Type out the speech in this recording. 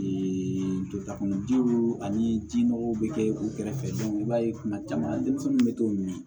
kunjiw ani ji nɔgɔw bɛ kɛ u kɛrɛfɛ i b'a ye kuma caman denmisɛnninw bɛ t'o min